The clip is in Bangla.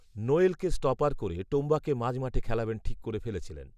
নোয়েলকে স্টপার করে টোম্বাকে মাঝমাঠে খেলাবেন ঠিক করে ফেলেছিলেন